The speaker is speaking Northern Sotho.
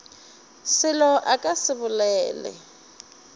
selo a ka se bolele